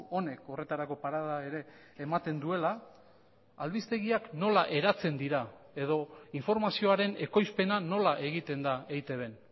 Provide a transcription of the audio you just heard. honek horretarako parada ere ematen duela albistegiak nola eratzen dira edo informazioaren ekoizpena nola egiten da eitbn